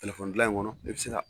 telefɔnidilan in kɔnɔ e bɛ se ka